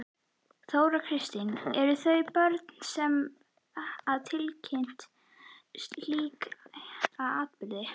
Þóra Kristín: Eru það börnin sem að tilkynna slíka atburði?